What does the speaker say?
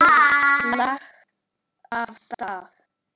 Lagt af stað